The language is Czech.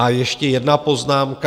A ještě jedna poznámka.